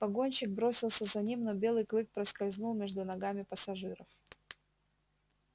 погонщик бросился за ним но белый клык проскользнул между ногами пассажиров